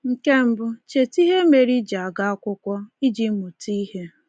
Nke mbụ, cheta ihe mere i ji aga akwụkwọ — iji mụta ihe.